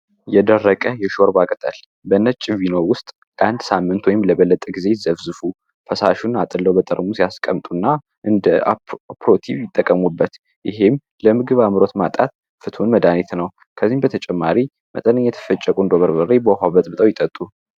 የደረቀ የሾወርብ አቅጠል በነጭ ቪኖ ውስጥ ለአንድ ሳምንት ወይም ለበለጠ ጊዜ ዘፍዝፉ ፈሳሹን አጥለው በጠርሙ ያስቀምጡ እና እንደ ፕሮቲቭ ይጠቀሙበት ይህም ለምግብ አምሮት ማጣት ፍትን መዳኒት ነው ከዚህም በተጨማሪ መጠነኝ የተፈጨቁ ንዶበርበሬ በውኃበጥ ብጠው ይጠጡ።